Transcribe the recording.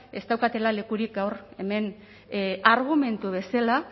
ez daukatela lekurik gaur hemen argumentu bezala